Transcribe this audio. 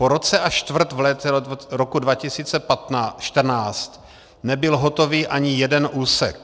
Po roce a čtvrt v létě roku 2014 nebyl hotový ani jeden úsek.